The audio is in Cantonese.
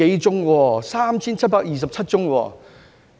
有 3,727 宗。